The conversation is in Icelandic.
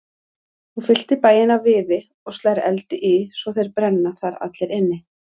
Hún fyllir bæinn af viði og slær eldi í svo þeir brenna þar allir inni.